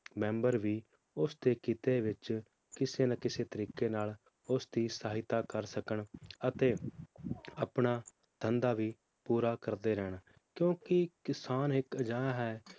Member ਵੀ ਉਸ ਦੇ ਕੀਤੇ ਵਿਚ ਕਿਸੇ ਨਾ ਕਿਸੇ ਤਰੀਕੇ ਨਾਲ ਉਸ ਦੀ ਸਹਾਇਤਾ ਕਰ ਸਕਣ, ਅਤੇ ਆਪਣਾ ਧੰਦਾ ਵੀ ਪੂਰਾ ਕਰਦੇ ਰਹਿਣ ਕਿਉਂਕਿ ਕਿਸਾਨ ਇਕ ਅਜਿਹਾ ਹੈ